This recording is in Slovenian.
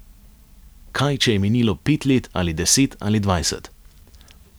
Kaj, če je minilo pet let ali deset ali dvajset?